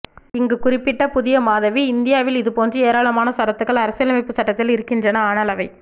இங்கு குறுக்கிட்ட புதியமாதவி இங்தியாவில் இதுபோன்ற ஏராளமான சரத்துகள் அரசியலைம்புச் சட்டத்தில் இருக்கின்றன ஆனால் அவை